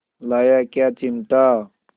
लाया क्या चिमटा